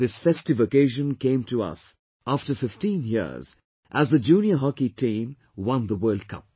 This festive occasion came to us after fifteen years as the Junior Hockey team won the World Cup